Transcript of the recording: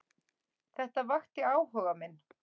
Þetta vakti áhuga minn.